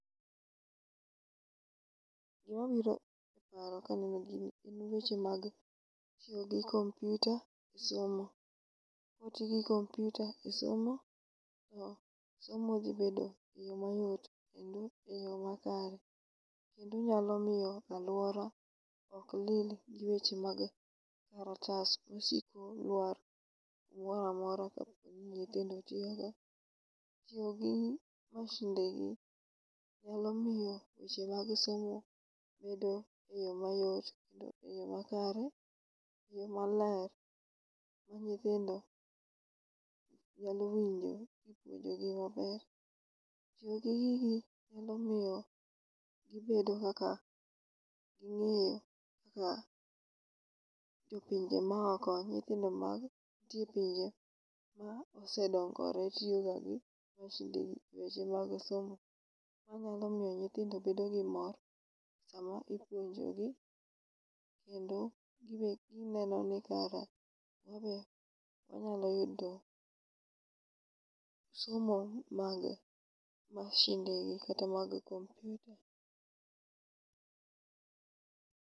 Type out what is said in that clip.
Gima biro e paro kaneno gini en weche mag tiyo gi kompyuta e somo, kwati gi kompyuta e somo to somo dhi bedo e yo mayot kendo e yo makare. Kendo nyalo miyo alwora ok lil gi weche mag otas ma siko lwar, gimora mora kaponi nyithindo tiyo go. Tiyo gi mashinde gi nyalo miyo weche mag somo bedo e yo mayot kendo e yo makare, gi maler. Ma nyithindo nyalo winjo nipuonjogi maber. Tiyo gi gigi nyalo miyo gibedo kaka ging'eyo kaka jopinje maoko nyithindo mag nitie e pinje ma ose dongore tiyo ga gi masinde gi e weche mag somo. Emanyalo miyo nyithindo bedo gi mor sama ipuonjo gi, kendo gibed gineno ni kara wabe wanyalo yudo somo mage mashinde gi kata mag kompyuta.